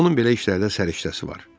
Onun belə işlərdə səriştəsi var.